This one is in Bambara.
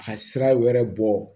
A ka sira wɛrɛ bɔ